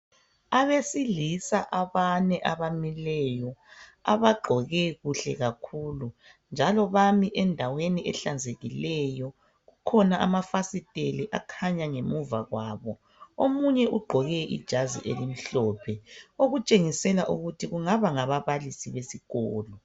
Abesilisa abane abamileyo abagqoke kuhle kakhulu njalo bami endaweni ehlanzekileyo. Kukhona amafasiteli akhanya ngemuva kwabo. Omunye ugqoke ijazi elimhlophe okutshengisela ukuthi kungaba ngababalisi besikolo.